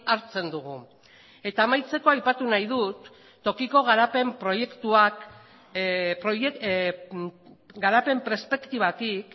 hartzen dugu eta amaitzeko aipatu nahi dut tokiko garapen proiektuak garapen perspektibatik